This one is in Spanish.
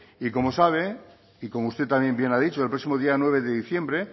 y como sabe y como usted también bien ha dicho el próximo día nueve de diciembre